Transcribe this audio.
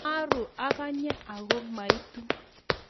Maruu akanye aku maitu